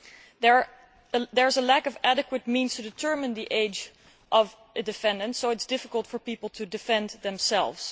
There is a lack of adequate means to determine the age of defendants, so it is difficult for people to defend themselves.